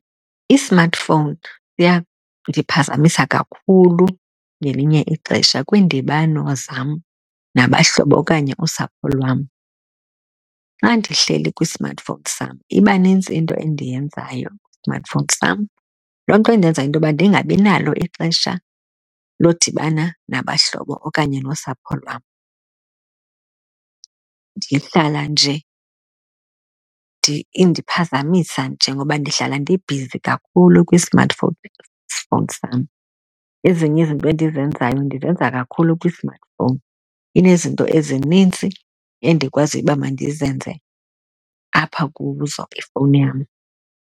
I-smartphone iyandiphazamisa kakhulu ngelinye ixesha kwiindibano zam nabahlobo okanye usapho lwam. Xa ndihleli kwi-smartphone sam, iba nintsi into endiyenzayo kwi-smartphone sam, loo nto indenza into yoba ndingabinalo ixesha lodibana nabahlobo okanye nosapho lwam. Ndihlala nje indiphazamisa nje ngoba ndihlala ndibhizi kakhulu kwi-smartphone fowuni sam. Ezinye izinto endizenzayo ndizenza kakhulu kwi-smartphone, inezinto ezinintsi endikwaziyo uba mandizenze apha kuzo ifowuni yam.